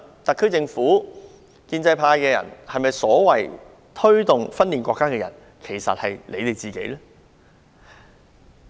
特區政府及建制派人士口中所謂推動分裂國家的人，其實是否指他們自己？